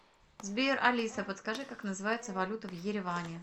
сбер алиса подскажи как называется валюта в ереване